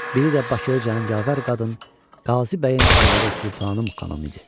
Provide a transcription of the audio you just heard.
Biridə Bakılı canı Yavər qadın, Qazi bəyin arvadı Sultanım xanım idi.